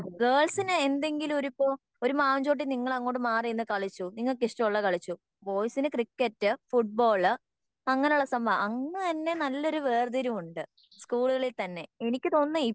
ഗേൾസിന് എന്തെങ്കിലും ഒരിപ്പോ ഒരു മാവിൻ ചോട്ടിൽ നിങ്ങൾ അങ്ങോട്ട് മാറി നിന്ന് കളിച്ചു നിങ്ങൾക് ഇഷ്ടമുള്ളത് കളിച്ചു ബോയ്സിന് ക്രിക്കറ്റ് ഫുട്ബോള് അങ്ങിനെ ഉള്ള സംഭവം അന്ന് തന്നെ നല്ലൊരു വേർതിരിവുണ്ട് സ്കൂളുകളിൽ തന്നെ. എനിക്ക് തോന്നുന്നേ